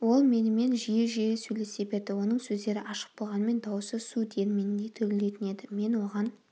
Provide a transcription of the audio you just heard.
ол менімен жиі-жиі сөйлесе берді оның сөздері ашық болғанымен дауысы су диірменіндей дүрілдейтін еді мен оған